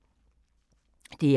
DR2